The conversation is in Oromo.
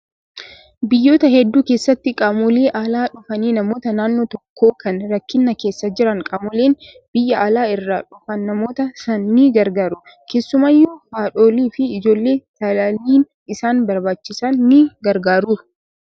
Biyyoota hedduu keessatti qaamolee alaa dhufanii namoota naannoo tokkoo kan rakkina keessa jiran qaamoleen biyya alaa irraa dhufan namoota sana ni gargaaru. Keessumaayyuu haadholii fi ijoollee talaalliin isaan barbaachisan ni gargaaru.